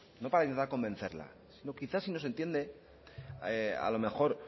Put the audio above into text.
no para intentar convencerla quizás si nos entiende a lo mejor